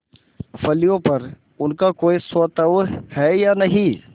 फलियों पर उनका कोई स्वत्व है या नहीं